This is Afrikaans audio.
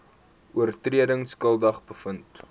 oortredings skuldig bevind